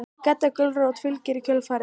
Gedda gulrót fylgir í kjölfarið.